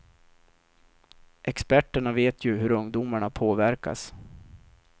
Experterna vet ju hur ungdomarna påverkas.